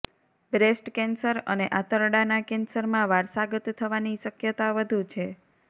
breast cancer અને આંતરડાના કેન્સરમાં વારસાગત થવાની શકયતા વધુ છે